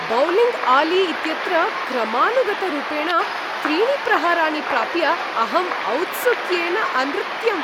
Bowling आली इत्यत्र क्रमानुगतरूपेण त्रीणि प्रहाराणि प्राप्य अहम् औत्सुक्येन अनृत्यम्।